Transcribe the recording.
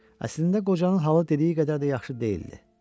Əslində qocanın halı dediyi qədər də yaxşı deyildi.